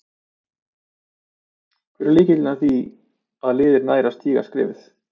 Hver er lykillinn að því að liðið nær að stíga skrefið?